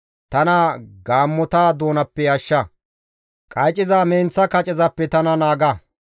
Tana gaammota doonappe ashsha; qayciza menththa kacezappe tana naaga.